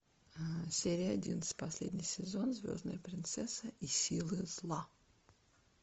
серия одиннадцать последний сезон звездная принцесса и силы зла